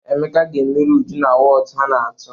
Emeka ga-emeri Uju na wọọtụ ha na-atụ.